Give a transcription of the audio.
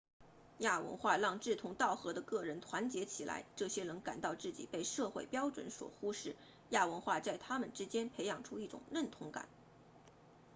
亚文化让志同道合的个人团结起来这些人感到自己被社会标准所忽视亚文化在他们之间培养出一种认同感